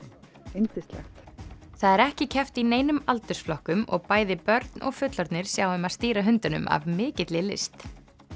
yndislegt það er ekki keppt í neinum aldursflokkum og bæði börn og fullorðnir sjá um að stýra hundunum af mikilli list